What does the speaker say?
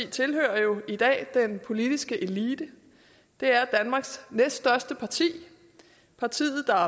tilhører jo i dag den politiske elite det er danmarks næststørste parti partiet der